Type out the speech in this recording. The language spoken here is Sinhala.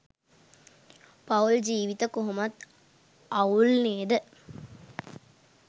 පවුල් ජීවිත කොහොමත් අවුල් නේද?